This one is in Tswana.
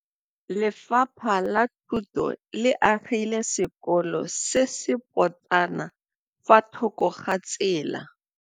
Lefapha la Thuto le agile sekôlô se se pôtlana fa thoko ga tsela.